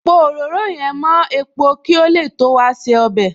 Pò òróró yẹn mo epo kí ó lè tó wa se ọbẹ̀